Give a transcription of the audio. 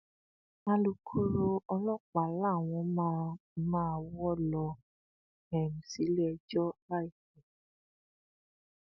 alukoro ọlọpàá làwọn máa máa wọ lọ um síléẹjọ láìpẹ